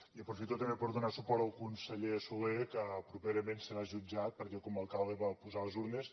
i aprofito també per donar suport al conseller solé que properament serà jutjat perquè com a alcalde va posar les urnes